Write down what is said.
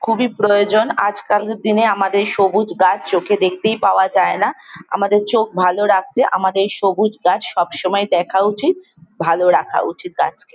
খুবই প্রয়োজন। আজকাল দিনে আমাদের সবুজ গাছ চোখে দেখতেই পাওয়া যায় না। আমাদের চোখ ভালো রাখতে আমাদের সবুজ গাছ সবসময় দেখা উচিত। ভাল রাখা উচিত গাছকে।